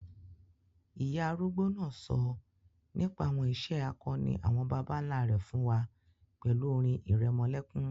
Ìyá arúgbó náà sọ nípa àwọn ìṣe akọni àwọn bàbá nlá rẹ̀ fún wa pẹ̀lú orin ìrẹmọlẹ́kún